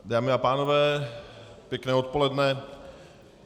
Dámy a pánové, pěkné odpoledne.